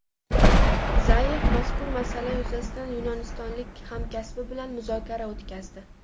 Zayev mazkur masala yuzasidan yunonistonlik hamkasbi bilan muzokara o‘tkazdi.